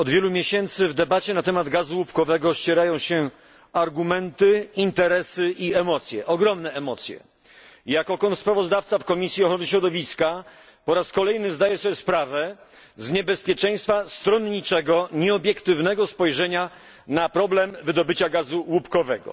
Od wielu miesięcy w debacie na temat gazu łupkowego ścierają się argumenty, interesy i emocje, ogromne emocje. Jako kontrsprawozdawca w Komisji Ochrony Środowiska po raz kolejny zdaję sobie sprawę z niebezpieczeństwa stronniczego, nieobiektywnego spojrzenia na problem wydobycia gazu łupkowego.